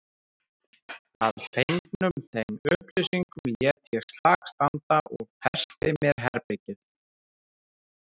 Að fengnum þeim upplýsingum lét ég slag standa og festi mér herbergið.